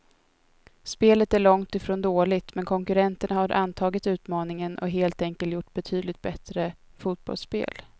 Spelet är långt ifrån dåligt, men konkurrenterna har antagit utmaningen och helt enkelt gjort betydligt bättre fotbollsspel.